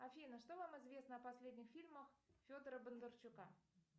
афина что вам известно о последних фильмах федора бондарчука